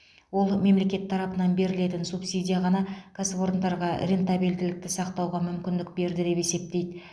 ол мемлекет тарапынан берілетін субсидия ғана кәсіпорындарға рентабельділікті сақтауға мүмкіндік берді деп есептейді